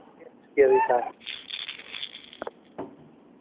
Hægviðri og víða léttskýjað í dag